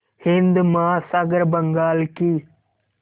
हिंद महासागर बंगाल की